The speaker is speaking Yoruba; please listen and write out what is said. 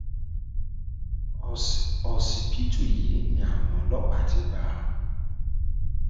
ọsibítù yìí ni àwọn ọlọpàá ti bá a